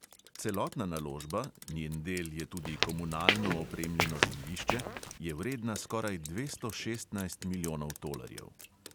Celotna naložba – njen del je tudi komunalno opremljeno zemljišče – je vredna skoraj dvesto šestnajst milijonov tolarjev.